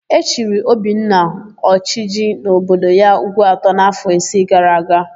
E chiri Obinna, Oshiji n'obodo ya Ugwuta n'áfọ̀ isi gara aga.